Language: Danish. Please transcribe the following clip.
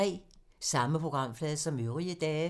Samme programflade som øvrige dage